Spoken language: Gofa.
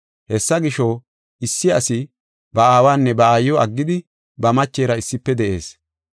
Hessa gisho, issi asi ba aawanne ba aayiw aggidi, ba machera issife de7ees.